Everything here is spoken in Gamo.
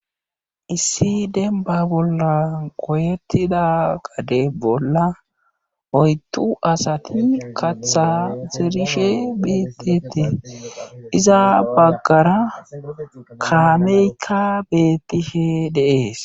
Issi dembba bolla goyetida gade bolla oydu asati kaththa zerishe betetees iza bagara kaamekka betishe de'ees.